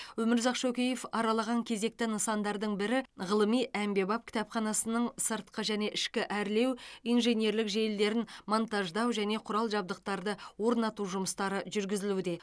өмірзақ шөкеев аралаған кезекті нысандардың бірі ғылыми әмбебап кітапханасының сыртқы және ішкі әрлеу инженерлік желілерін монтаждау және құрал жабдықтарды орнату жұмыстары жүргізілуде